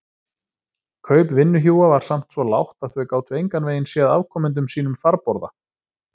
Kaup vinnuhjúa var samt það lágt að þau gátu engan veginn séð afkomendum sínum farborða.